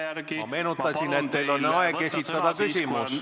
Ma meenutasin, et teil on aeg esitada küsimus.